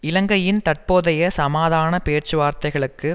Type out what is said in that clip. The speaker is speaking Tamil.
இலங்கையின் தற்போதைய சமாதான பேச்சுவார்த்தைகளுக்கு